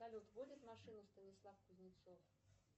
салют водит машину станислав кузнецов